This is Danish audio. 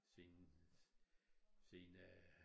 Siden siden øh